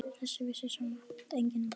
Þetta vissi samt enginn þá.